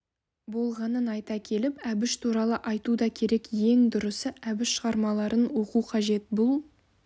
болғанын айта келіп әбіш туралы айту да керек ең дұрысы әбіш шығармаларын оқу қажет бұл